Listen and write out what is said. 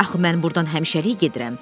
Axı mən burdan həmişəlik gedirəm.